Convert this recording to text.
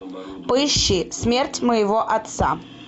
поищи смерть моего отца